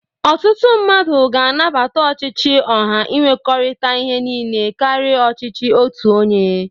Ọtụtụ mmadụ ga-anabata ọchịchị ọha inwekọrịta ihe niile karị ọchịchị otu onye.